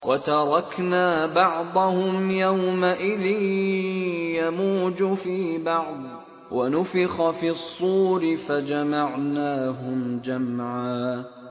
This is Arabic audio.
۞ وَتَرَكْنَا بَعْضَهُمْ يَوْمَئِذٍ يَمُوجُ فِي بَعْضٍ ۖ وَنُفِخَ فِي الصُّورِ فَجَمَعْنَاهُمْ جَمْعًا